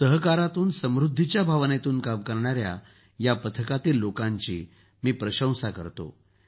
सहकारातून समृद्धीच्या भावनेतून काम करणाऱ्या पथकातील लोकांची मी प्रशंसा करतो